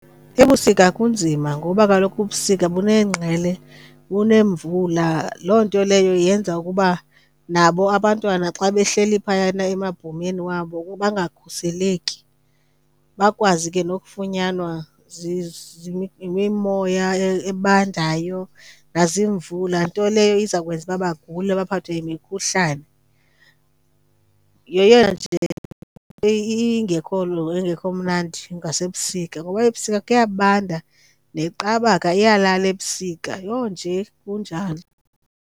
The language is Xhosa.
Ebusika kunzima ngoba kaloku ubusika bunengqele, bunemvula. Loo nto leyo yenza ukuba nabo abantwana xa behleli phayana emabhomeni wabo bangakhuseleki, bakwazi ke nokufunyanwa yimimoya ebandayo, nazimvula. Nto leyo iza kwenza uba bagule baphathwe imikhuhlane. Yeyona nje ingekho mnandi ngasebusika ngoba ebusika kuyabanda neqabaka iyalala ebusika. Yho, nje kunjalo.